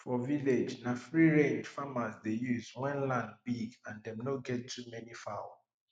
for village na freerange farmers dey use when land big and dem no get too many fowl